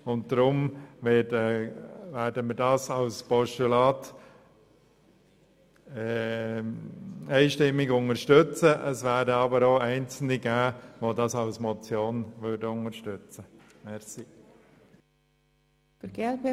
Deshalb werden wir den Vorstoss als Postulat unterstützen, wobei einzelne der Motion zustimmen werden.